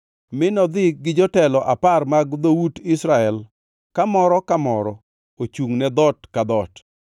mi nodhi gi jotelo apar mag dhout Israel kamoro ka moro ochungʼ ne dhoot ka dhoot.